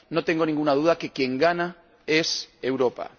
No tengo ninguna duda de que quien gana es Europa.